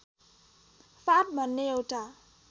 फाँट भन्ने एउटा